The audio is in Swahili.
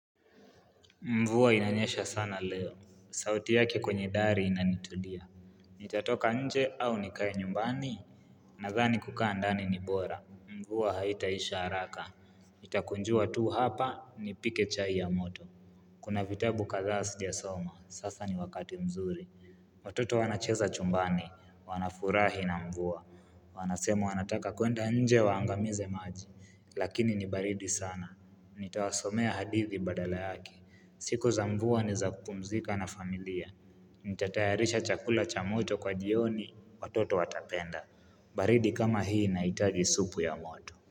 Mvua inanyesha sana leo, sauti yake kwenye dari inanitulia. Nitatoka nje au nikae nyumbani? Nadhani kukaa ndani ni bora. Mvua haitaisha haraka, itakunjua tu hapa, nipike chai ya moto. Kuna vitabu kadhaa sijasoma sasa ni wakati mzuri. Watoto wanacheza chumbani, wanafurahi na mvua. Wanasema wanataka kuenda nje waangamize maji, lakini nibaridi sana. Nitawasomea hadithi badala yake siku za mvua ni za kupumzika na familia. Nitatayarisha chakula cha moto kwa jioni Watoto watapenda. Baridi kama hii inahitaji supu ya moto.